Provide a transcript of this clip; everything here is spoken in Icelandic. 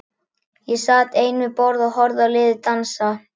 Ég sat ein við borð og horfði á liðið dansa.